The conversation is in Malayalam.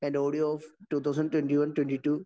and the audio of 2021-22